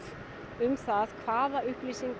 um það hvaða upplýsingar